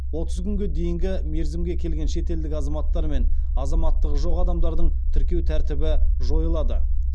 отыз күнге дейінгі мерзімге келген шетелдік азаматтар мен азаматтығы жоқ адамдардың тіркеу тәртібі жойылады